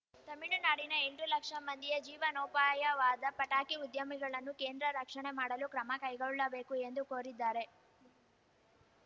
ತಮಿಳುನಾಡಿನ ಎಂಟು ಲಕ್ಷ ಮಂದಿಯ ಜೀವನೋಪಾಯವಾದ ಪಟಾಕಿ ಉದ್ಯಮಗಳನ್ನು ಕೇಂದ್ರ ರಕ್ಷಣೆ ಮಾಡಲು ಕ್ರಮ ಕೈಗೊಳ್ಳಬೇಕು ಎಂದು ಕೋರಿದ್ದಾರೆ